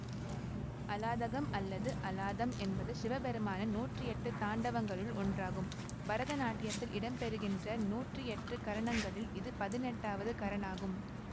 அலாதகம் அல்லது அலாதம் என்பது சிவபெருமானின் நூற்றியெட்டு தாண்டவங்களுள் ஒன்றாகும் பரதநாட்டியத்தில் இடம்பெறுகின்ற நூற்றியெட்டு கரணங்களில் இது பதினெட்டாவது கரனாகும்